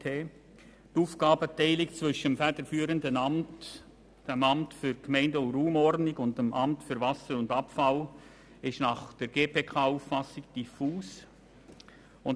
Die Aufgabenteilung zwischen dem federführenden Amt, dem Amt für Gemeinden und Raumordnung (AGR) und dem Amt für Wasser und Abfall (AWA) ist nach Auffassung der GPK diffus.